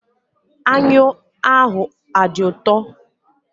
Anyụ ahụ adị ụtọ?